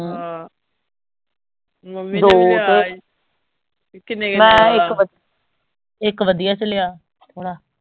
ਆਹ ਮੰਮੀ ਨੇ ਵੀ ਲਿਆ ਈ ਕਿੰਨੇ ਕਿੰਨੇ ਵਾਲਾ